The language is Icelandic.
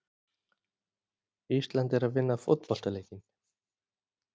Ísland er að vinna fótboltaleikinn.